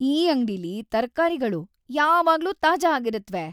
ಈ ಅಂಗ್ಡಿಲಿ ತರ್ಕಾರಿಗಳು ಯಾವಾಗ್ಲೂ ತಾಜಾ ಆಗಿರತ್ವೆ!